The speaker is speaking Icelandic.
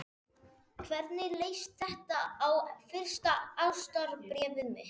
Hvernig leist þér á fyrsta ástarbréfið mitt?